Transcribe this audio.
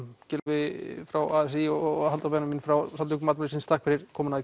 Gylfi frá a s í og Halldór frá Samtökum atvinnulífsins takk fyrir komuna í